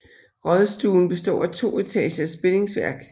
Rådstuen består af to etagers bindingsværk